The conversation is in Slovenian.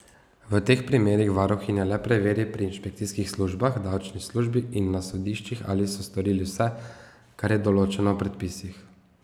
V teh primerih varuhinja le preveri pri inšpekcijskih službah, davčni službi in na sodiščih, ali so storili vse, kar je določeno v predpisih.